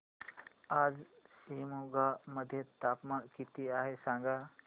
आज शिमोगा मध्ये तापमान किती आहे सांगा